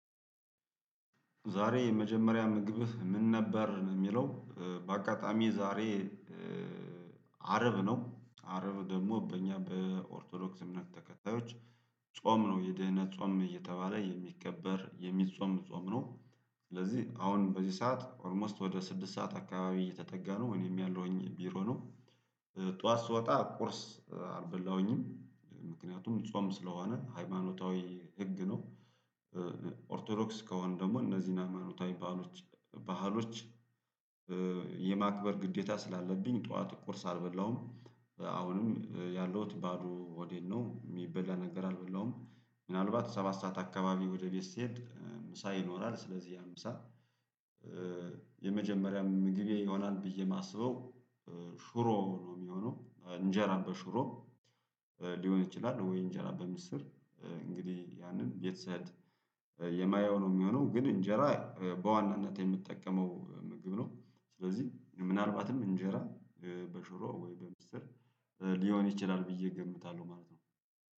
ዛሬ የመጀመሪያ ምግብህ ምን ነበር ነው የሚለው? በአጋጣሚ ዛሬ አርብ ነው አርብ ደግሞ በእኛ በኦርቶዶክስ እምነት ተከታዮች ጾም ነው። የድህነት ጾም እየተባለ የሚከበር የሚጾም ጾም ነው። ስለዚህ አሁን በዚህ ሰዓት ኦልሞስት ወደ ስድስት ሰዓት አካባቢ እየተጠጋ ነው እኔም ያለሁኝ ቢሮ ነው። ጠዋት ስወጣ ቁርስ አልበላሁኝም ምክንያቱም ጾም ስለሆነ ሃይማኖታዊ ህግ ነው። ኦርቶዶክስ ከሆነ ደግሞ እነዚህን ሃይማኖታዊ ባህሎች የማክበር ግዴታ ስላለብኝ ጠዋት ቁርስ አልበላሁም። አሁንም ያለውት ባዶ ሆዴን ነው የሚበላ ነገር አልበላሁም። ምናልባት ሰባት ሰዓት አካባቢ ወደ ቤት ስሄድ ምሳ ይኖራል ስለዚህ ያምሳ። የመጀመሪያ ምግቤ ይሆናል ብዬ የማስበው ሽሮ ነው የሚሆነው እንጀራ በሽሮ ሊሆን ይችላል? ወይ እንጀራ በምስር እንግዲህ ያንን ቤት ስሄድ የማየው ነው የሚሆነው ግን እንጀራ በዋናነት የምጠቀመው ምግብ ነው። ስለዚህ ምናልባትም እንጀራ በሽሮ ወይ በምስር ሊሆን ይችላል ብዬ እገምታለሁ ማለት ነው።